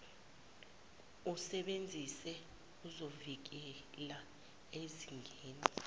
usebenzise ezokuvikela ezisezingeni